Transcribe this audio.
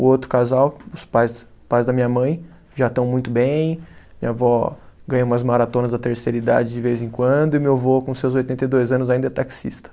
O outro casal, os pais pais da minha mãe já estão muito bem, minha avó ganha umas maratonas da terceira idade de vez em quando e meu avô com seus oitenta e dois anos ainda é taxista.